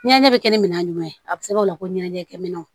Ɲɛnɛ bɛ kɛ minɛn jumɛn ye a bɛ se ka o la ko ɲɛnajɛ kɛ minɛn